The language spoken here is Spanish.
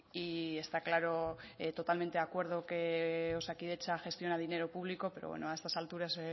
y está claro totalmente de acuerdo que osakidetza gestiona dinero público pero bueno a estas alturas